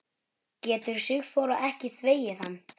Getur Sigþóra ekki þvegið hann?